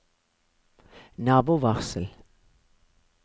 nabovarsel